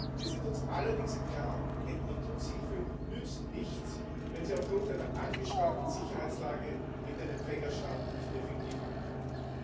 Wir sind uns allerdings im Klaren Entwicklungshilfe nützt nichts, wenn sie aufgrund einer angespannten Sicherheitslage in den Empfängerstaaten nicht effektiv ankommt.